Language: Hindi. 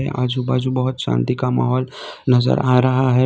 आजू-बाजू बहुत शांति का माहौल नजर आ रहा है।